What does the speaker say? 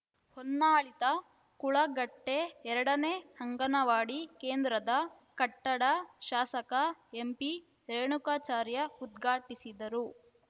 ಹೊನ್ನಾಳಿತಾ ಕುಳಗಟ್ಟೆ ಎರಡನೇ ಅಂಗನವಾಡಿ ಕೇಂದ್ರದ ಕಟ್ಟಡ ಶಾಸಕ ಎಂಪಿ ರೇಣುಕಾಚಾರ್ಯ ಉದ್ಘಾಟಿಸಿದರು